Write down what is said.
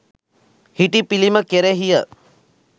හිටි පිළිම කෙරෙහිය.